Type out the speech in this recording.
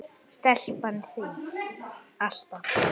Stelpan þín, alltaf.